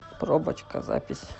пробочка запись